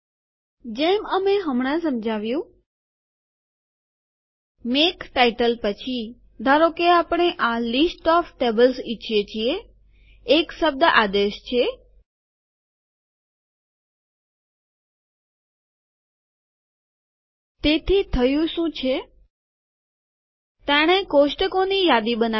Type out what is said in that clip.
જેમ અમે હમણાં સમજાવ્યું મેક ટાઈટલ પછી ધારો કે આપણે આ લીસ્ટ ઓફ ટ્યુટોરિયલ ઈચ્છીએ છીએ એક શબ્દ આદેશ છે તેથી થયું શું છે તેણે કોષ્ટકોની યાદી બનાવેલ છે